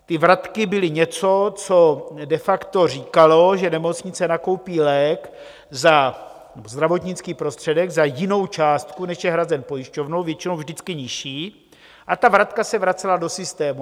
Ty vratky byly něco, co de facto říkalo, že nemocnice nakoupí lék za zdravotnický prostředek za jinou částku, než je hrazen pojišťovnou - většinou vždycky nižší - a ta vratka se vracela do systému.